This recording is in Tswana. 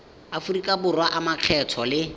aforika borwa a makgetho le